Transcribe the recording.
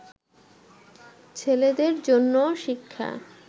ছেলেদের জন্যও শিক্ষা